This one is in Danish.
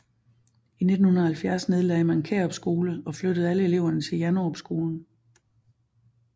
I 1970 nedlagde man Kærup skole og flyttede alle eleverne til Janderup skolen